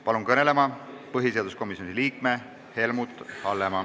Palun kõnelema põhiseaduskomisjoni liikme Helmut Hallemaa.